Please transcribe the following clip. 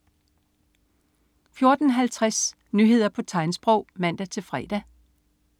14.50 Nyheder på tegnsprog (man-fre)